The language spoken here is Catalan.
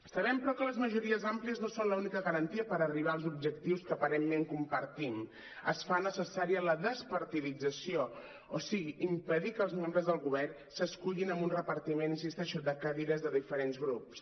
sabem però que les majories àmplies no són la única garantia per arribar als objectius que aparentment compartim es fa necessària la despartidització o sigui impedir que els membres del govern s’escullin amb un repartiment hi insisteixo de cadires de diferents grups